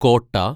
കോട്ട